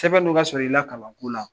Sɛbɛn dun ka surun i la kaban ko la